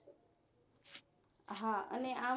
હા અને આપ